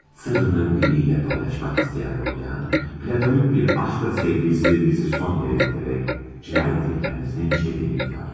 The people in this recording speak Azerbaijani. Sırrını biriylə paylaşmaq istəyən Rodiyan, platonik bir eşqlə sevdiyi sevgilisi Sonyaya gedərək cinayəti özünün törətdiyini etiraf edir.